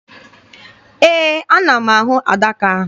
Ee, ana m ahụ adaka ahụ.